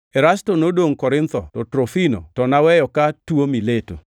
Erasto nodongʼ Korintho to Trofimo to naweyo ka tuo Mileto.